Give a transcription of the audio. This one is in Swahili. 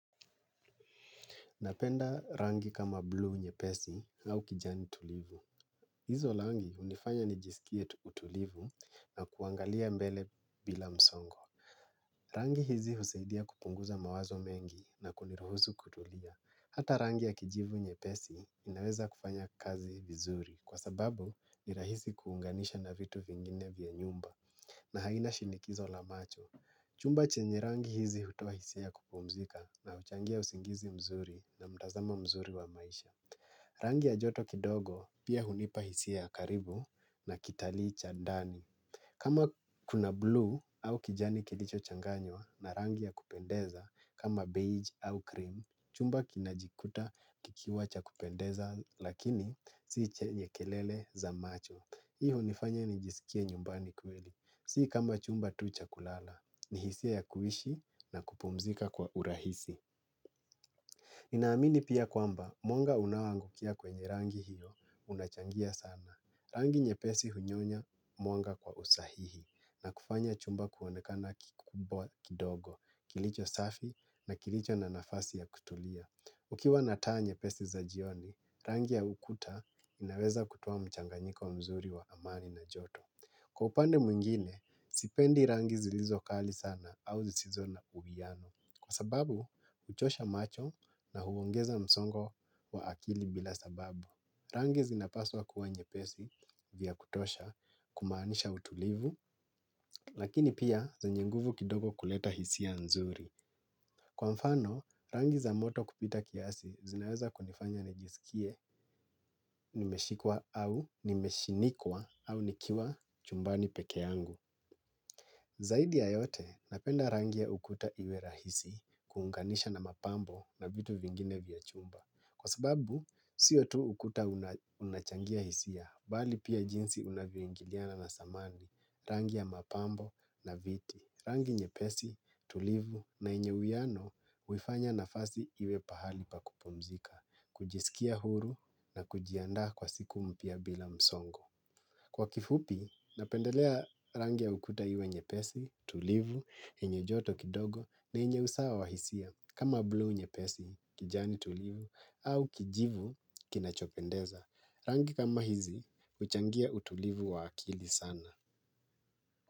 Napenda rangi kama blue nyepesi au kijani tulivu. Hizo rangi hunifanya nijisikie utulivu na kuangalia mbele bila msongo. Rangi hizi husaidia kupunguza mawazo mengi na kuniruhusu kutulia. Hata rangi ya kijivu nyepesi inaweza kufanya kazi vizuri kwa sababu ni rahisi kuunganisha na vitu vingine vya nyumba. Na haina shinikizo la macho. Chumba chenye rangi hizi hutoa hisia ya kupumzika na huchangia usingizi mzuri na mtazamo mzuri wa maisha. Rangi ya joto kidogo pia hunipa hisia ya karibu na kitalii cha ndani. Kama kuna blue au kijani kilicho changanywa na rangi ya kupendeza kama beige au cream chumba kinajikuta kikiwa cha kupendeza lakini si chenye kelele za macho. Hii hunifanya nijisikie nyumbani kweli. Si kama chumba tu cha kulala, ni hisia ya kuishi na kupumzika kwa urahisi. Ninaamini pia kwamba, mwanga unaoangukia kwenye rangi hiyo unachangia sana. Rangi nyepesi hunyonya mwanga kwa usahihi na kufanya chumba kuonekana kikubwa kidogo, kilicho safi na kilicho na nafasi ya kutulia. Ukiwa nataa nyepesi za jioni, rangi ya ukuta inaweza kutoa mchanganyiko mzuri wa amani na joto. Kwa upande mwingine, sipendi rangi zilizo kali sana au zisizo na uwiano. Kwa sababu, huchosha macho na huongeza msongo wa akili bila sababu. Rangi zinapaswa kuwa nyepesi vya kutosha kumaanisha utulivu, lakini pia zenye nguvu kidogo kuleta hisia nzuri. Kwa mfano, rangi za moto kupita kiasi zinaweza kunifanya nijisikie nimeshikwa au nimeshinikwa au nikiwa chumbani peke yangu. Zaidi ya yote, napenda rangi ya ukuta iwe rahisi kuunganisha na mapambo na vitu vingine vya chumba. Kwa sababu, siyo tu ukuta una unachangia hisia, bali pia jinsi unavyoingiliana na samani, rangi ya mapambo na viti, rangi nyepesi, tulivu na yenye uwiano, huifanya nafasi iwe pahali pa kupumzika, kujisikia huru na kujiandaa kwa siku mpya bila msongo. Kwa kifupi, napendelea rangi ya ukuta iwe nyepesi, tulivu, yenye joto kidogo na yenye usawa wa hisia kama blue nyepesi kijani tulivu au kijivu kinachopendeza. Rangi kama hizi, huchangia utulivu wa akili sana.